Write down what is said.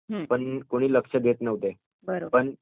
पण कुणी लक्ष देत नव्हते, पण